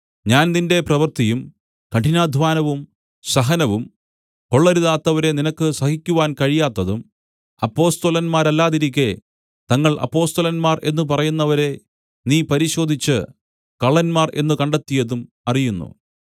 ഞാൻ നിന്റെ പ്രവൃത്തിയും കഠിനാദ്ധ്വാനവും സഹനവും കൊള്ളരുതാത്തവരെ നിനക്ക് സഹിക്കുവാൻ കഴിയാത്തതും അപ്പൊസ്തലന്മാരല്ലാതിരിക്കെ തങ്ങൾ അപ്പൊസ്തലന്മാർ എന്നു പറയുന്നവരെ നീ പരിശോധിച്ച് കള്ളന്മാർ എന്നു കണ്ടെത്തിയതും അറിയുന്നു